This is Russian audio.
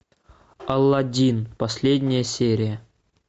аладдин последняя серия